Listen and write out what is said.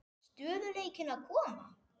Stöðugleikinn að koma?